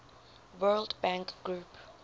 world bank group